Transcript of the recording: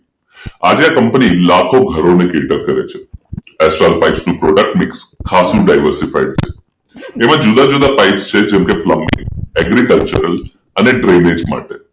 આજે આ કંપની લાખો ઘરોમાં કીર્તક કરે છે astral pipe product mix ખાસુ diversify છે જેમાં જુદા જુદા પાઇપ છે જેમકે પ્લમ્બિંગ એગ્રીકલ્ચર અને Drainage માટે